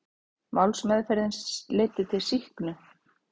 Málsmeðferðin leiddi til sýknu